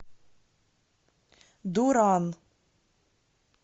дуран